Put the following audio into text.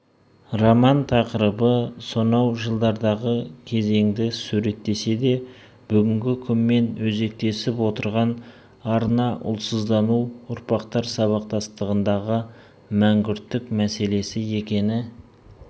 роман тақырыбы сонау жылдардағы кезеңді суреттесе де бүгінгі күнмен өзектесіп отырған арна ұлтсыздану ұрпақтар сабақтастығындағы мәнгүрттік мәселесі екені